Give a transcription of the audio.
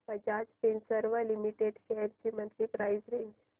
Bajaj Finserv limited shares ची monthly price range